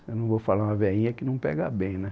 Eu não vou falar uma veinha que não pega bem, né?